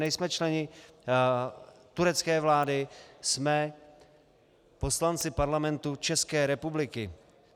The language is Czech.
Nejsme členy turecké vlády, jsme poslanci Parlamentu České republiky.